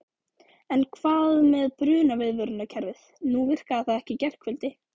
En hvað með brunaviðvörunarkerfið, nú virkaði það ekki í gærkvöldi?